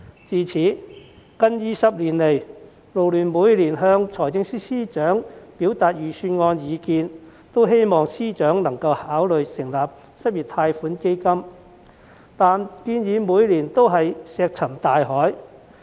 自此近20年來，勞聯每年也向司長表達預算案的意見，希望司長能夠考慮成立失業貸款基金，但建議每年均石沉大海。